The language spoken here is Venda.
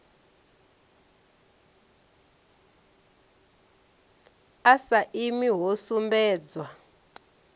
a sa imi ho sumbedzwa